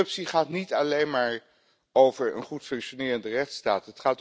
Corruptie gaat niet alleen maar over een goed functionerende rechtsstaat.